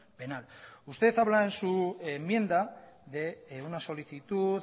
penal usted habla en su enmienda de una solicitud